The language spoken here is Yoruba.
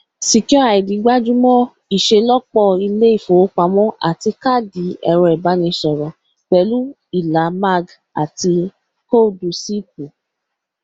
secureid gbájú mọ ìṣelọpọ ilé ìfowópamọ àti káàdì ẹrọìbánisọrọ pẹlú ìlà mag àti ìkóòdù ṣíìpù